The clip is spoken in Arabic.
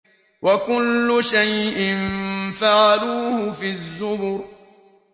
وَكُلُّ شَيْءٍ فَعَلُوهُ فِي الزُّبُرِ